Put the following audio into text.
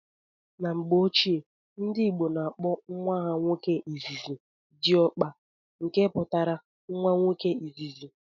N'mgbe ochie ndị ìgbo na akpo nwa ha nwoke izizi "Diokpa", nke pụtara nwa nwoke izizi.